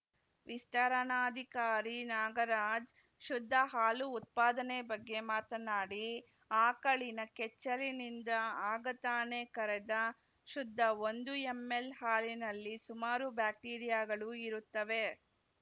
ವಿಸ್ತರಣಾಧಿಕಾರಿ ನಾಗರಾಜ್‌ ಶುದ್ಧ ಹಾಲು ಉತ್ಪಾದನೆ ಬಗ್ಗೆ ಮಾತನಾಡಿ ಆಕಳಿನ ಕೆಚ್ಚಲಿನಿಂದ ಆಗ ತಾನೇ ಕರೆದ ಶುದ್ಧ ಒಂದು ಎಂಎಲ್‌ ಹಾಲಿನಲ್ಲಿ ಸುಮಾರು ಬ್ಯಾಕ್ಟೀರಿಯಾಗಳು ಇರುತ್ತವೆ